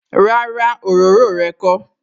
Rárá, òróró rẹ kó